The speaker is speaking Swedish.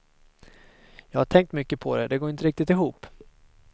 Jag har tänkt mycket på det, det går inte riktigt ihop.